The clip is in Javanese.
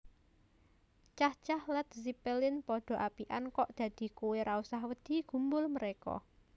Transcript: Cah cah Led Zeppelin podo apikan kok dadi kowe ra usah wedi gumbul mereka